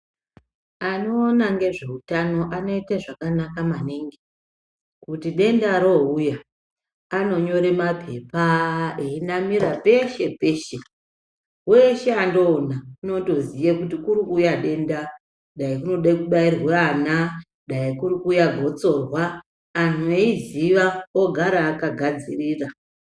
Anoona ngezveutano anoite zvakanaka maningi. Kuti denda rouya, anonyore mapepa einamira peshe peshe. Weshe andoona unotoziye kuti kurikuuya denda, dai kunode kubairwe ana, dai kurikuuya gotsorwa anhu eiziva ogara akagadzirira.